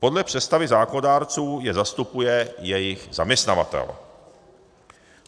Podle představy zákonodárců je zastupuje jejich zaměstnavatel.